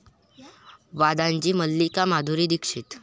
वादांची मल्लिका माधुरी दीक्षित